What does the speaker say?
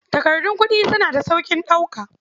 Takardun kuɗi suna da sauƙin ɗauka.